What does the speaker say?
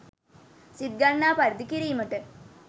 සිත්ගන්නා පරිදි කිරීමට